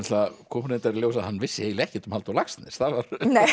það kom nú reyndar í ljós að hann vissi eiginlega ekkert um Halldór Laxness það var